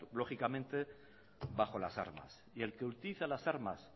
lógicamente bajo las armas y el que utiliza las armas